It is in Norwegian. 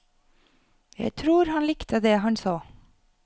Jeg tror han likte det han så.